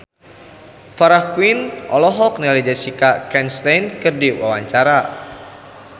Farah Quinn olohok ningali Jessica Chastain keur diwawancara